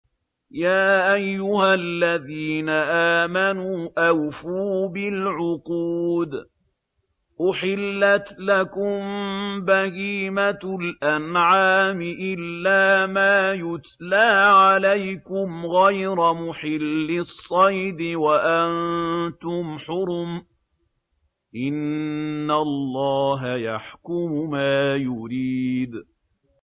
يَا أَيُّهَا الَّذِينَ آمَنُوا أَوْفُوا بِالْعُقُودِ ۚ أُحِلَّتْ لَكُم بَهِيمَةُ الْأَنْعَامِ إِلَّا مَا يُتْلَىٰ عَلَيْكُمْ غَيْرَ مُحِلِّي الصَّيْدِ وَأَنتُمْ حُرُمٌ ۗ إِنَّ اللَّهَ يَحْكُمُ مَا يُرِيدُ